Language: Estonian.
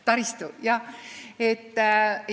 Taristu, jah!